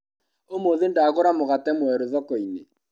ũmũthĩ ndagũra mũgate mwerũ thokoinĩ.